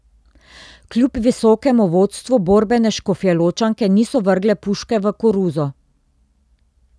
Kljub visokemu vodstvu borbene Škofjeločanke niso vrgle puške v koruzo.